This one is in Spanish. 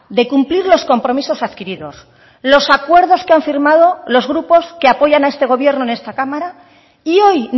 de cumplir los compromisos adquiridos los acuerdos que han firmado los grupos que apoyan a este gobierno en esta cámara y hoy